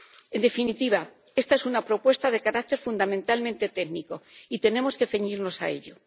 En definitiva, esta es una propuesta de carácter fundamentalmente técnico y tenemos que ceñirnos a ello.